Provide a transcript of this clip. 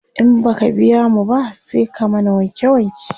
in baka biya mu ba, sai ka mana wanke wanke